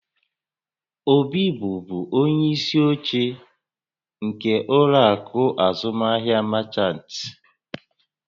Obi bụbu onye isi oche nke ụlọ akụ azụmaahịa Merchant